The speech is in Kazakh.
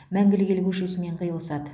мәңгілік ел көшесімен қиылысады